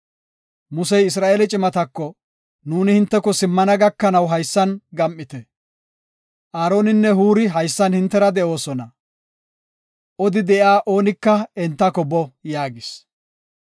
Musey Isra7eele cimatako, “Nuuni hinteko simmana gakanaw haysan gam7ite. Aaroninne Huuri haysan hintera de7oosona; odi de7iya oonika entako boo” yaagis.